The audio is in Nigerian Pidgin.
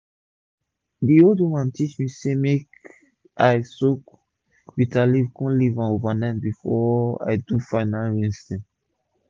d old woman teach me say make i soak bitter leaf kon leave am over night before i do final rinsing